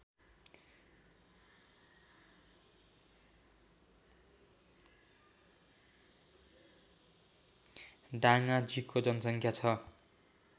डाङाजीको जनसङ्ख्या छ